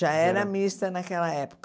Já era mista naquela época.